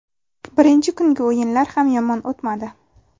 Birinchi kungi o‘yinlar ham yomon o‘tmadi.